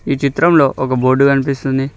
ఈ చిత్రంలో ఒక బోర్డు కనిపిస్తుంది.